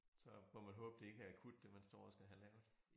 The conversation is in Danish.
Så må man håbe det ikke er akut det man står og skal have lavet